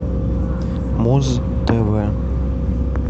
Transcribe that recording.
муз тв